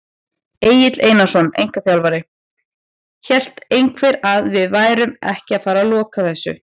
Egill Einarsson, einkaþjálfari: Hélt einhver að við værum ekki að fara loka þessu!?